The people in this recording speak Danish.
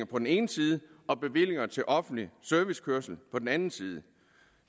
på den ene side og bevillinger til offentlig servicekørsel på den anden side